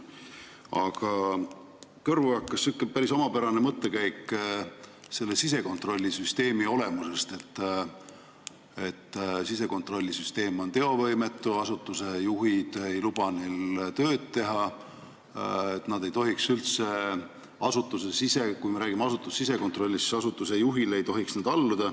Aga kõrvu hakkas päris omapärane mõttekäik sisekontrollisüsteemi olemuse kohta, justkui sisekontrollisüsteem oleks teovõimetu, asutuste juhid ei luba neil töötajatel tööd teha ja kui me räägime asutuse sisekontrollist, siis nad ei tohiks üldse asutuse juhile alluda.